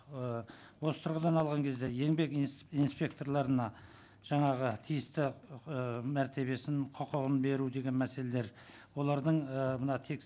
ы осы тұрғыдан алған кезде еңбек инспекторларына жаңағы тиісті ы мәртебесін құқығын беру деген мәселелер олардың ы мына